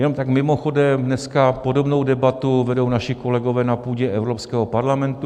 Jenom tak mimochodem, dneska podobnou debatu vedou naši kolegové na půdě Evropského parlamentu.